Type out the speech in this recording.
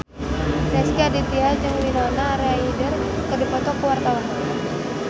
Rezky Aditya jeung Winona Ryder keur dipoto ku wartawan